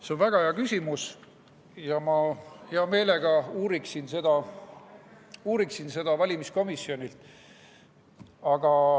See on väga hea küsimus ja ma hea meelega uuriksin seda valimiskomisjonilt.